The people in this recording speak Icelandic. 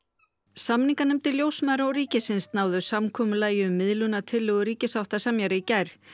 samninganefndir ljósmæðra og ríkisins náðu samkomulagi um miðlunartillögu ríkissáttasemjara í gær